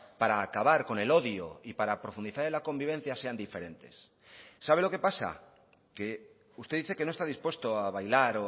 para acabar con el odio y para profundizar en la convivencia sean diferentes sabe lo que pasa que usted dice que no está dispuesto a bailar